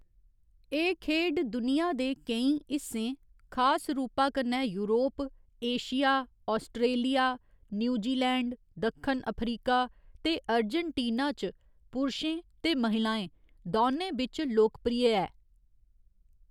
एह्‌‌ खेढ दुनिया दे केईं हिस्सें, खास रूपा कन्नै यूरोप, एशिया, आस्ट्रेलिया, न्यूजीलैंड, दक्खन अफ्रीका ते अर्जेंटीना च पुरशें ते महिलाएं दौने बिच्च लोकप्रिय ऐ।